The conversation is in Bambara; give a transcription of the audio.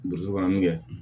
Burusukan min kɛ